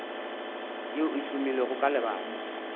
yeo e hlomilwego ka lebaka